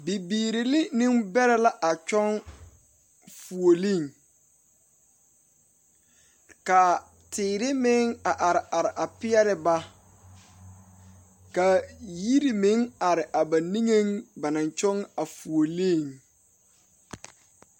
Bibiiri ne nembeɛre la kyɔŋ fouli, kaa teere meŋ a are are a pɛɛle ba kaa yirimeŋ are a ba niŋɛ ba naŋ kyɔŋ a fuoli